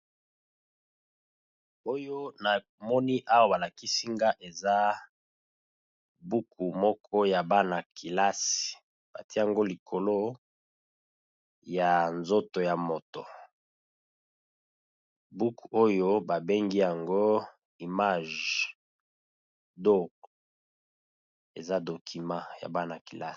Oyo namoni awa ba lakisi nga eza buku moko ya bana kelasi, ba tie yango likolo ya nzoto ya moto. Buku oyo ba bengi yango image doc, eza document ya bana kelasi.